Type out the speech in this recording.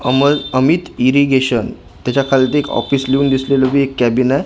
अमद Amit irrigation त्याच्या खालती एक ऑफिस लिहून दिसलेलं बी एक कॅबीन आहे जे--